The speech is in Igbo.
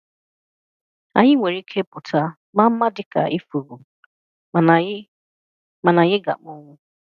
Anyị nwere ike pụta maa mma dị ka ifuru, mana anyị mana anyị ga-akpọnwụ.